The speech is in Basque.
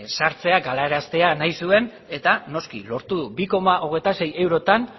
sartzea galaraztea nahi zuen eta noski lortu du bi koma hogeita sei eurotan